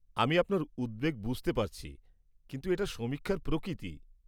আমি আপনার উদ্বেগ বুঝতে পারছি, কিন্তু এটা সমীক্ষার প্রকৃতি।